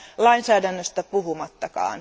lainsäädännöstä puhumattakaan.